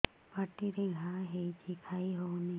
ପାଟିରେ ଘା ହେଇଛି ଖାଇ ହଉନି